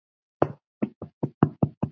Klukkan fjögur?